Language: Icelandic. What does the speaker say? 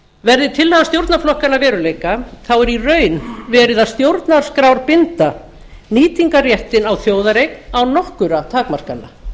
verði tillaga stjórnarflokkanna að veruleika er í raun verið að stjórnarskrárbinda nýtingarréttinn á þjóðareign án nokkurra takmarkana